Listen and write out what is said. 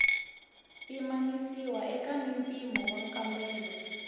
pimanisiwa eka mimpimo wa nkambelo